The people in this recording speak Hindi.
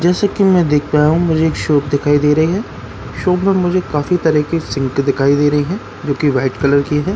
जैसे कि मैं देख पाया हूं मुझे एक शॉप दिखाई दे रही है शॉप में मुझे काफी तरह के सिंक दिखाई दे रही हैं जो कि वाइट कलर की हैं।